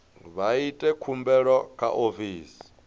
vha ite khumbelo kha ofisi